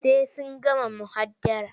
Sai sun gama muhadara.